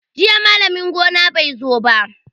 Jiya malamin gona bai zo ba.